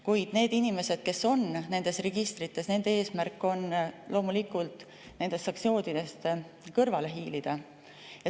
Kuid nende inimeste eesmärk, kes on nendes registrites, on loomulikult nendest sanktsioonidest kõrvale hiilida.